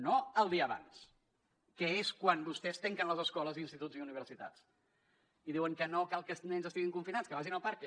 no el dia abans que és quan vostès tanquen les escoles instituts i universitats i diuen que no cal que els nens estiguin confinats que vagin al parc